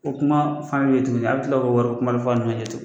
O kuma fan ye jugu ye a bɛ tila k'o wɔri kumani f'a ɲɛgɛ cu